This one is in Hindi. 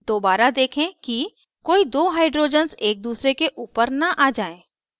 दोबारा देखें कि कोई दो hydrogens एक दूसरे के ऊपर न आ जाएँ